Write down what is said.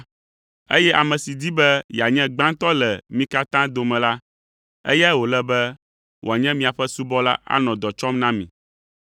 eye ame si di be yeanye gbãtɔ le mi katã dome la, eyae wòle be wòanye miaƒe subɔla anɔ dɔ tsɔm na mi.